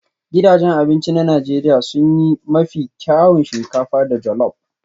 Gidajen abinci na Najeriya sun yi mafi kyawun shinkafa da jollop